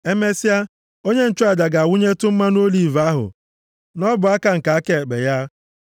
Emesịa onye nchụaja ga-awụnyetụ mmanụ oliv ahụ nʼọbụaka nke aka ekpe ya,